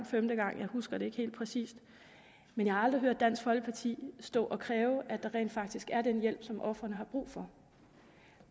femte gang husker jeg ikke helt præcist men jeg har aldrig hørt dansk folkeparti stå og kræve at der rent faktisk er den hjælp som ofrene har brug for